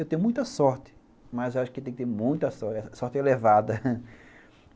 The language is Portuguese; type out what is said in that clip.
Eu tenho muita sorte, mas acho que tem que ter muita sorte, sorte elevada